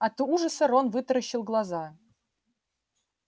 от ужаса рон вытаращил глаза